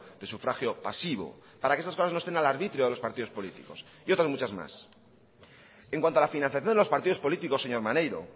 de sufragio pasivo para que estas cosas no estén al arbitrio de los partidos políticos y otras muchas más en cuanto a la financiación de los partidos políticos señor maneiro